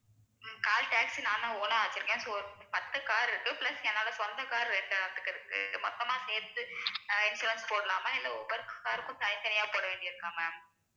ஹம் call taxi நான் தான் own ஆ வச்சிருக்கேன் so பத்து car இருக்கு plus என்னோட சொந்த car இரண்டு இருக்கு இது மொத்தமா சேர்த்து ஆஹ் insurance போடலாமா இல்லை ஒவ்வொரு car க்கும் தனித்தனியா போட வேண்டியது இருக்கா ma'am